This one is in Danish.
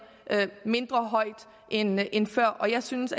mindre end end før og jeg synes